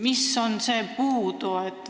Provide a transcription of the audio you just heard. Mis on puudu?